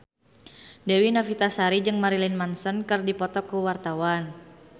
Dewi Novitasari jeung Marilyn Manson keur dipoto ku wartawan